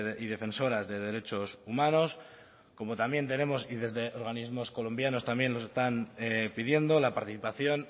y defensoras de derechos humanos como también tenemos y desde organismos colombianos también nos están pidiendo la participación